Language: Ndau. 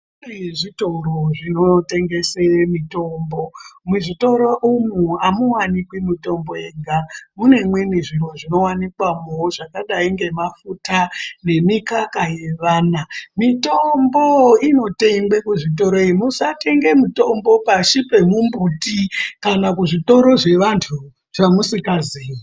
Kune zvitoro zvinotengese mitombo . Muzvitoro umu amuwanikwi mitombo yega ,mune imweni zviro zvinowanikwawo zvakadai ngemafuta ,nemukaka yevana. Mitombo inotengwe kuzvitoroyo. Musatenge mitombo pashi pemumbuti, kana kuzvitoro zvevantu zvamusikaziyi.